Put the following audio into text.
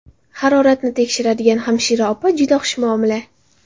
Haroratni tekshiradigan hamshira opa juda xushmuomala.